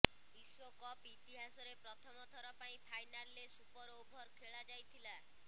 ବିଶ୍ବକପ ଇତିହାସରେ ପ୍ରଥମ ଥର ପାଇଁ ଫାଇନାଲରେ ସୁପରଓଭର ଖେଳା ଯାଇଥିଲା